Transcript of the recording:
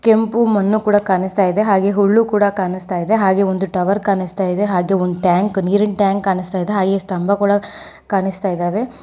ಕೆಂಪು ಮಣ್ಣು ಕೂಡ ಕಾಣಿಸ್ತಾ ಇದೆ ಹಾಗೆ ಹುಳ್ಳು ಕೂಡ ಕಾಣಿಸ್ತಾ ಇದೆ ಹಾಗೆ ಒಂದು ಟವರ್ ಕಾಣಿಸ್ತಾ ಇದೆ ಹಾಗೆ ಒಂದು ಟ್ಯಾಂಕ್ ನೀರಿನ ಟ್ಯಾಂಕ್ ಕಾಣಿಸ್ತಾಯಿದೆ ಹಾಗೆ ಸ್ತಂಭ ಕೂಡ ಕಾಣಿಸ್ತಾಯಿದಾವೆ.